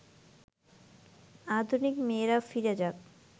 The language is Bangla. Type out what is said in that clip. আধুনিক মেয়েরা ফিরে যাক